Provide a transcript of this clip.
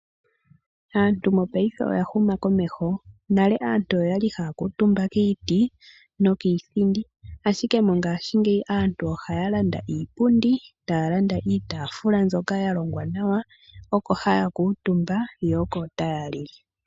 Aantu mopaife oya huma komeho. Nale aantu oya li haya kuutumba kiiti nokiithindi, ashike mongashingeyi aantu ohaya landa iipundi, taya landa iitaafula mbyoka ya longwa nawa oko haya kuutumba yo oko taya lile.